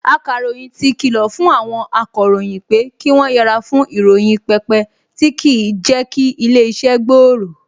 Akàròyìn ti kìlọ̀ fún àwọn akọ̀ròyìn pé kí wọ́n yẹre fún ìròyìn pípẹ tí kì í jẹ́ kí ilé-iṣẹ́ gbòòrò